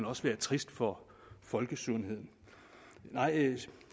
også være trist for folkesundheden